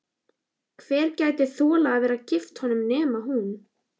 Hver gæti þolað að vera gift honum nema hún?